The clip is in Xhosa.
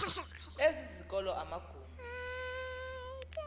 ezi zikolo amagumbi